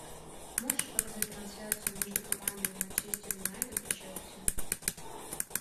можешь показать трансляцию между командами манчестер юнайтед и челси